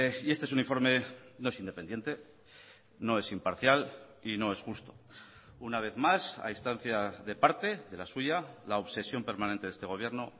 y este es un informe no es independiente no es imparcial y no es justo una vez más a instancia de parte de la suya la obsesión permanente de este gobierno